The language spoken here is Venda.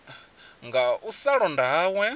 nga u sa londa hawe